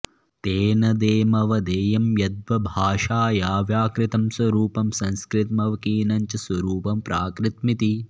तेनदेमवधेयं यद्द वभाषाया व्याकृतं स्वरूपं संस्कृतमवकीर्णञ्च स्वरूपं प्राकृतमिति